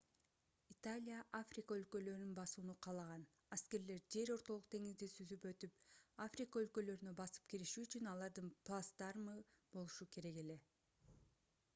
италия африка өлкөлөрүн басууну каалаган аскерлер жер ортолук деңизди сүзүп өтүп африка өлкөлөрүнө басып кириши үчүн алардын плацдармы болушу керек эле